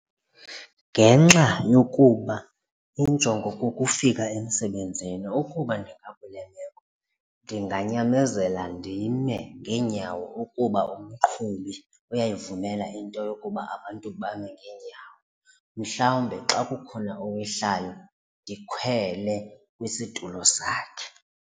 Ngenxa yokuba injongo kukufika emsebenzini ukuba ndingakule meko ndinganyamezela ndime ngeenyawo ukuba umqhubi uyayivumela into yokuba abantu bame ngeenyawo, mhlawumbe xa kukhona owehlayo ndikhwele kwisitulo sakhe.